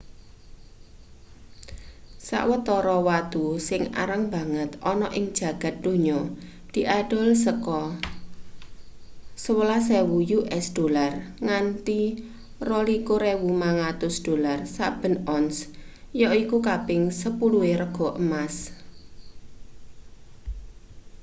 sawetara watu sing arang banget ana ing jagad donya diadol saka us$11.000 nganti $22.500 saben ons yaiku kaping sepuluhe rega emas